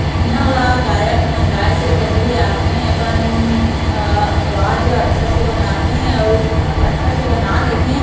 इहा ल गायक मन गाए से पहिली आथे अपन अअअ अवाज ल अच्छा से बनाथे अउ तब अच्छा से बना लेथे --